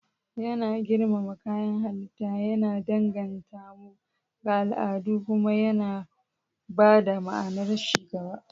Yana girmama kayan halitta, yana danganta mu ga al'adu, kuma yana ba da ma'anar ci gaba.